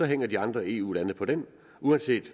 hænger de andre eu lande på det uanset